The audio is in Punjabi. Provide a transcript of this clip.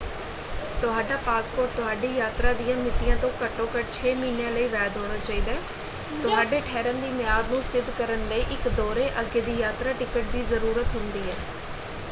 ਤੁਹਾਡਾ ਪਾਸਪੋਰਟ ਤੁਹਾਡੀ ਯਾਤਰਾ ਦੀਆਂ ਮਿਤੀਆਂ ਤੋਂ ਘੱਟੋ-ਘੱਟ 6 ਮਹੀਨਿਆਂ ਲਈ ਵੈਧ ਹੋਣਾ ਚਾਹੀਦਾ ਹੈ। ਤੁਹਾਡੇ ਠਹਿਰਣ ਦੀ ਮਿਆਦ ਨੂੰ ਸਿੱਧ ਕਰਨ ਲਈ ਇੱਕ ਦੌਰੇ/ਅੱਗੇ ਦੀ ਯਾਤਰਾ ਟਿਕਟ ਦੀ ਜ਼ਰੂਰਤ ਹੁੰਦੀ ਹੈ।